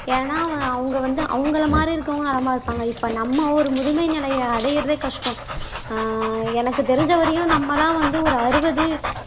ஏன்னா அவங்க வந்து அவங்களை மாதிரி இருக்கிறவங்க நலமா இருப்பாங்க இப்ப நம்ம ஒரு முதுமை நிலையை அடையிறதே கஷ்டம் ஆஹ் எனக்கு தெரிஞ்ச வரையும் நம்மதான் வந்து ஒரு அறுபது